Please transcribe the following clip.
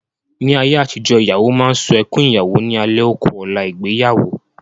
Ní àyé àtijọ́, ìyàwó máa sun ẹkún Ìyàwó ní alẹ́ ó ku ọ̀la ìgbéyàwó.